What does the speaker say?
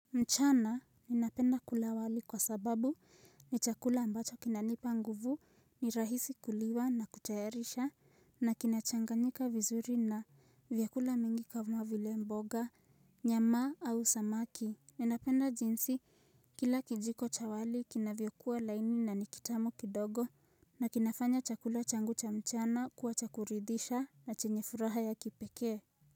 Mchana ninapenda kula wali kwa sababu ni chakula ambacho kinanipa nguvu, ni rahisi kuliwa na kutayarisha na kinachanganyika vizuri na vyakula mingi kama vile mboga, nyama au samaki. Ninapenda jinsi kila kijiko cha wali kinavyokuwa laini na ni kitamu kidogo na kinafanya chakula changu cha mchana kuwa chakuridhisha na chenye furaha ya kipekee.